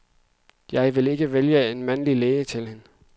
Jeg ville ikke vælge en mandlig læge til hende.